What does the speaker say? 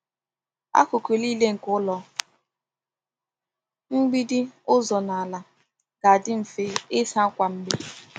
Akụkụ niile nke ụlọ— mgbidi, ụzọ, na ala— ga-adị mfe ịsa kwa mgbe.